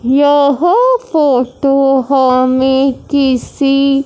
यह फोटो हमें किसी--